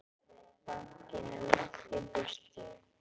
Bankinn er langt í burtu.